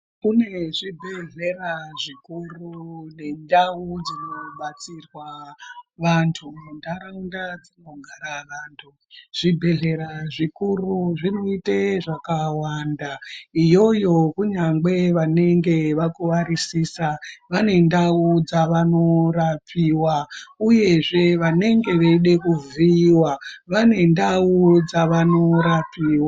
Kune zvibhedhlera zvikuru nendau dzinobatsirwa vantu muntaraunda dzinogara vantu. Zvibhedhlera zvikuru zvinoite zvakawanda iyoyo kunyangwe vanenge vakuvarisisa vane ndau dzavanorapiva, uyezve vanenge veide kuvhiiva vane ndau dzavanorapiva.